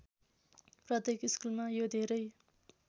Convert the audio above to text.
प्रत्येक स्कुलमा यो धेरै